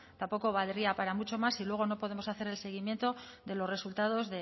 tampoco valdría para mucho más si luego no podemos hacer el seguimiento de los resultados